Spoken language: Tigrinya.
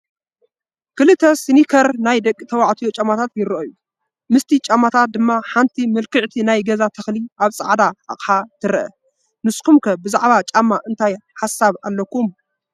ክልተ ሲኒከር ናይ ደቂ ተባዕትዮ ጫማታት ይረኣዩ፡፡ ምስቲ ጫማታት ድማ ሓንቲ ምልክዕቲ ናይ ገዛ ተኽሊ ኣብ ፃዕዳ ኣቕሓ ትረአ፡፡ ንስኹም ከ ብዛዕባ ጫማ እንታይ ሓሳብ ኣለኩም?